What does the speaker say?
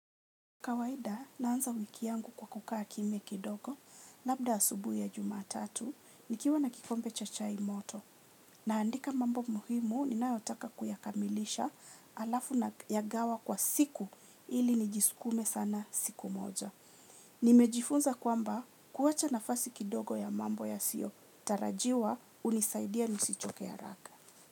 Kawaida, naanza wiki yangu kwa kukaa kimya kidogo, labda asubuhi ya jumatatu, nikiwa na kikombe cha chai moto. Naandika mambo muhimu, ninaotaka kuyakamilisha alafu na yagawa kwa siku, ili nijiskume sana siku moja. Nimejifunza kwamba, kuwacha nafasi kidogo ya mambo yasio, tarajiwa unisaidia nisichoke ya haraka.